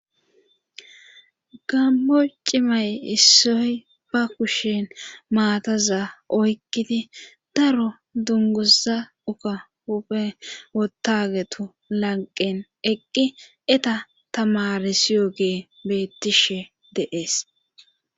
gammo cimay issoy ba kushen maataza oykkidi daro dunguza uka huuphe wotagetu lanqen eqqi eta tamarisiyo gee beettishe deees